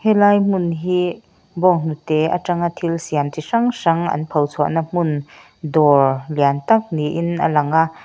lai hmun hi bawnghnute atanga thil siam chi hrang hrang an pho chhuahna hmun dawr lian tak niin a lang a.